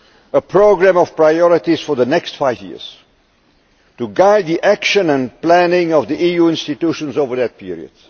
on a programme of priorities for the next five years to guide the action and planning of the EU institutions over that period.